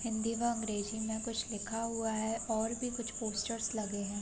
हिंदी व अंग्रेजी में कुछ लिखा हुआ है और भी कुछ पोस्टर्स लगे है ।